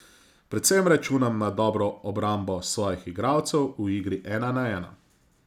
Predvsem računam na dobro obrambo svojih igralcev v igri ena na ena.